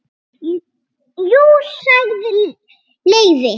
Jú sagði Leifi.